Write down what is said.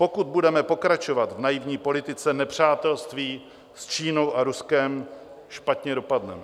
Pokud budeme pokračovat v naivní politice nepřátelství s Čínou a Ruskem, špatně dopadneme.